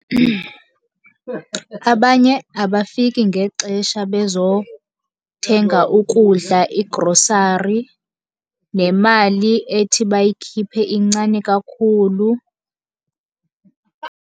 Abanye abafiki ngexesha bezothenga ukudla, igrosari. Nemali ethi bayikhiphe incane kakhulu.